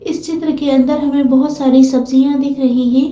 इस चित्र के अंदर हमें बहुत सारी सब्जियां दिख रही हैं।